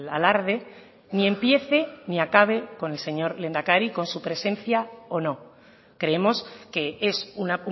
alarde ni empiece ni acabe con el señor lehendakari con su presencia o no creemos que es un